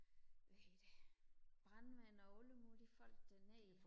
hvad hedder det brandmænd og alle mulige folk derned